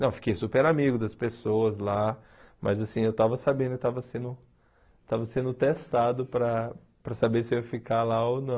Não, eu fiquei super amigo das pessoas lá, mas assim, eu estava sabendo, eu estava sendo estava sendo testado para para saber se eu ia ficar lá ou não.